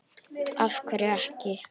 Af hverju ekki?